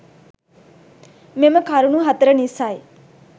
මෙම කරුණු හතර නිසයි